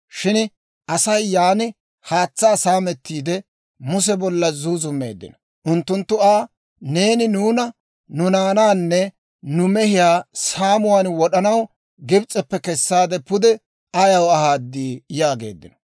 Shin Asay yaan haatsaa saamettiide, Muse bolla zuuzummeeddino. Unttunttu Aa, «Neeni nuuna, nu naanaanne nu mehiyaa saamuwaan wod'anaw Gibs'eppe kesaade pude ayaw ahaad?» yaageeddino.